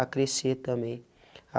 A crescer também.